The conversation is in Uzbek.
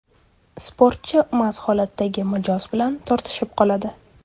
Sportchi mast holatdagi mijoz bilan tortishib qoladi.